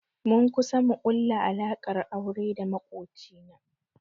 Mun kusa mu ƙulla alaƙar aure da maƙoci na